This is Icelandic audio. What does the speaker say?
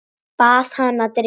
Bað hana að drífa sig.